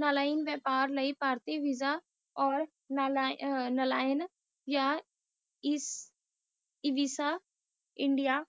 ਨਲਿਨ ਵਾਪਰ ਲਾਇ ਪਾਰਟੀ ਵੀਸਾ ਜਾ ਨਾਲਾਂ ਵਿਪਾਰ ਲਾਇ ਜਾ ਐਵਸ ਇੰਡੀਆ